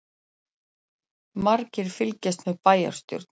Margir fylgjast með bæjarstjórn